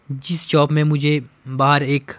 जिस शॉप में मुझे बाहर एक--